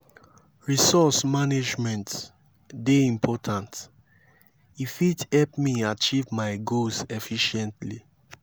resource management dey important; e fit help me achieve my goals efficiently.